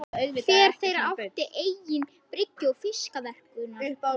Hver þeirra átti eigin bryggju og fiskverkunarhús.